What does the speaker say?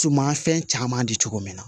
Sumafɛn caman di cogo min na